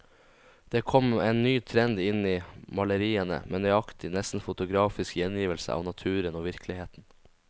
Det kom en ny trend inn i maleriene, med nøyaktig, nesten fotografisk gjengivelse av naturen og virkeligheten.